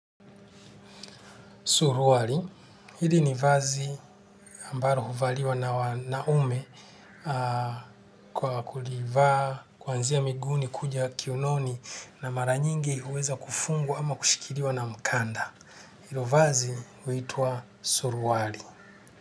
Suruali, hili ni vazi ambalo huvaliwa na wanaume kwa kulivaa kuanzia miguuni kuja kiunoni na mara nyingi huweza kufungwa ama kushikiliwa na mkanda. Hilo vazi huitwa suruali.